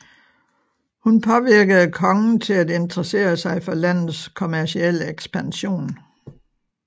Hun påvirkede kongen til at interessere sig for landets kommercielle ekspansion